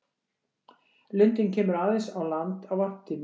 Lundinn kemur aðeins á land á varptíma.